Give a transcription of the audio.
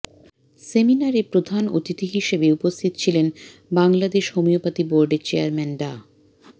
সেমিনারে প্রধান অতিথি হিসেবে উপস্থিত ছিলেন বাংলাদেশ হোমিওপ্যাথি বোর্ডের চেয়ারম্যান ডা